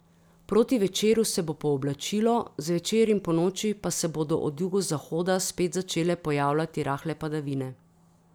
Proti večeru se bo pooblačilo, zvečer in ponoči pa se bodo od jugozahoda spet začele pojavljati rahle padavine.